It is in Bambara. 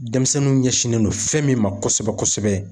Denmisɛnninw ɲɛsinnen don fɛn min ma kosɛbɛ kosɛbɛ